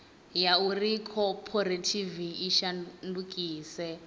ya uri khophorethivi i shandukise